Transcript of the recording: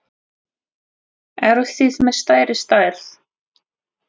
Eruð þið með stærri stærð?